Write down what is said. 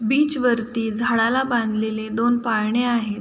Beach वरती वरती झाडाला बांधलेले दोन पाळणे आहेत.